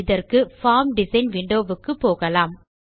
இதற்கு form design window க்கு போகலாம்